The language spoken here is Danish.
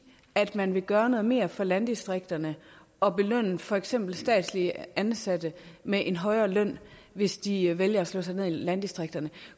at man vil gøre noget mere for landdistrikterne og belønne for eksempel statsligt ansatte med en højere løn hvis de vælger at slå sig ned i landdistrikterne